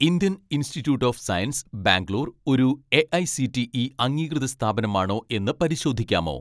Indian institute of science Bangalore ഒരു AICTE അംഗീകൃത സ്ഥാപനമാണോ എന്ന് പരിശോധിക്കാമോ